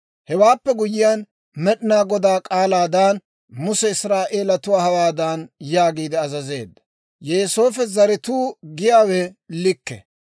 Hewaappe guyyiyaan, Med'inaa Godaa k'aalaadan, Muse Israa'eelatuwaa hawaadan yaagiide azazeedda; «Yooseefo zaratuu giyaawe likke.